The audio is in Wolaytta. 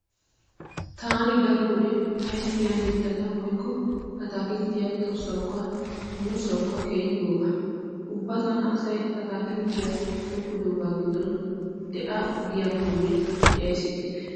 Taani daro wode ayfiya mittata woykko ataakilttiya tossawukka muussawukk keehi gooba. Ubba tana asay ataakilttiya tokkidoogaa giddon de'a giyakkonne de'ays ixxikke.